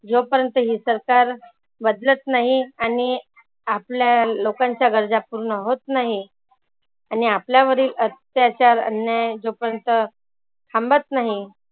जो पर्यंत ही सरकार बदलत नाही आणि आपल्या लोकांच्या गरजा पुर्ण होत नाही आणि आपल्यावरील अत्याचार, अन्याय जोपर्यंत थांबत नाही